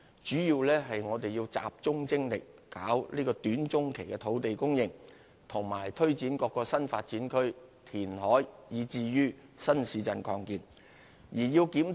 主要原因是我們要集中精力處理短、中期的土地供應、推展各個新發展區、填海工程，以及新市鎮的擴建。